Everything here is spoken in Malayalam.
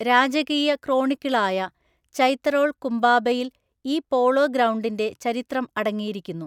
മധ്യപ്രദേശിൽ മധ്യ പ്ലീസ്റ്റോസീൻ കാലഘട്ടത്തിൽ ജനവാസമുണ്ടായിരുന്നിരിക്കാം എന്നാണ് നർമ്മദാ താഴ്‌വരയിലെ ഹത്‌നോറയിൽ കണ്ടെത്തിയ ഹോമോ ഇറക്‌റ്റസിന്റെ ഒറ്റപ്പെട്ട അവശിഷ്ടങ്ങൾ സൂചിപ്പിക്കുന്നത്.